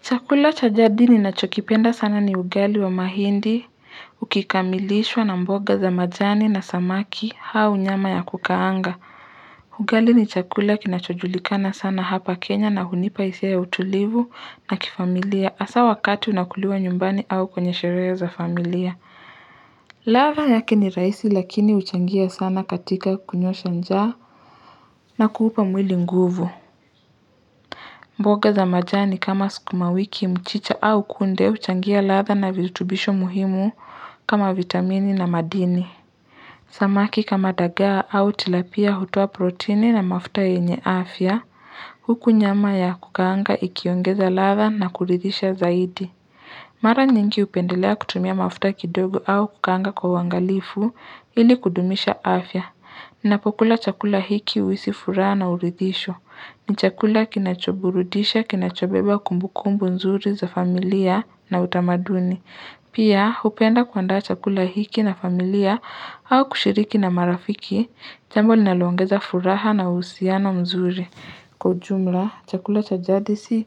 Chakula chajadi ni na chokipenda sana ni ugali wa mahindi, ukikamilishwa na mboga za majani na samaki au nyama ya kukaanga. Ugali ni chakula kinachojulikana sana hapa Kenya na hunipaisia ya utulivu na kifamilia asa wakati unakuliwa nyumbani au kwenye sherehe za familia. Ladha yake ni raisi lakini uchangia sana katika kunyosha nja na kuupa mwili nguvu. Mboga za majani kama sukuma wiki mchicha au kunde uchangia ladha na vizurubisho muhimu kama vitamini na madini. Samaki kama daga au tilapia hutoa protini na mafuta enye afya, huku nyama ya kukanga ikiongeza ladha na kuridhisha zaidi. Mara nyingi upendelea kutumia mafuta kidogo au kukanga kwa wangalifu ili kudumisha afya. Ninapokula chakula hiki uhisi furaha na uridisho. Ni chakula kinachoburudisha, kinachobeba kumbukumbu nzuri za familia na utamaduni. Pia upenda kuanda chakula hiki na familia au kushiriki na marafiki, jambo linalongeza furaha na usiana mzuri. Kujumla, chakula cha jadisi,